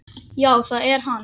Já það er hann.